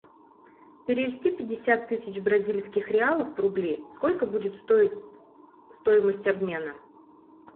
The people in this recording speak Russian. перевести пятьдесят тысяч бразильских реалов в рубли сколько будет стоить стоимость обмена